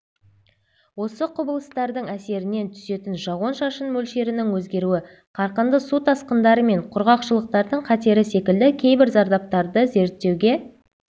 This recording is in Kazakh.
осы құбылыстардың әсерінен түсетін жауын-шашын мөлшерінің өзгеруі қарқынды су тасқындары мен құрғақшылықтардың қатері секілді кейбір зардаптарды зерттеуге